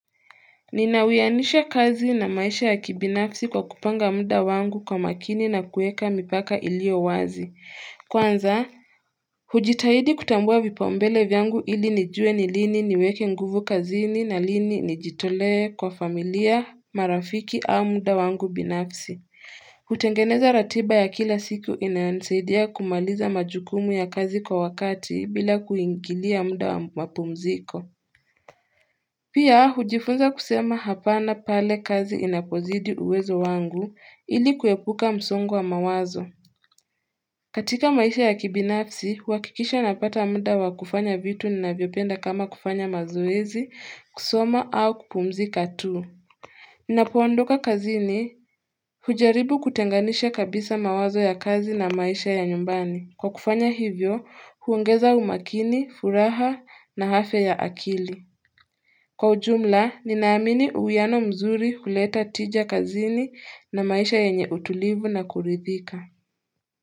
Ninawianisha kazi na maisha ya kibinafsi kwa kupanga muda wangu kwa makini na kuweka mipaka iliyo wazi. Kwanza hujitahidi kutambua vipaumbele vyangu ili nijue ni lini niweke nguvu kazini na lini nijitolee kwa familia, marafiki au muda wangu binafsi hutengeneza ratiba ya kila siku inayonisaidia kumaliza majukumu ya kazi kwa wakati bila kuingilia muda wa mapumziko Pia hujifunza kusema hapana pale kazi inapozidi uwezo wangu ili kuepuka msongo wa mawazo. Katika maisha ya kibinafsi, huakikisha napata muda wa kufanya vitu ninavyopenda kama kufanya mazoezi, kusoma au kupumzika tu. Ninapoondoka kazini, hujaribu kutenganisha kabisa mawazo ya kazi na maisha ya nyumbani. Kwa kufanya hivyo, huongeza umakini, furaha na afya ya akili. Kwa ujumla, ninaamini uwiano mzuri huleta tija kazini na maisha yenye utulivu na kuridhika.